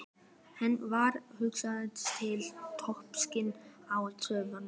Henni varð hugsað til tóbaksins á stofuborðinu.